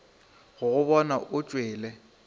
go go bona o tšwele